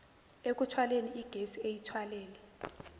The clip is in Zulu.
ekuthwaleni igesi eyithwalele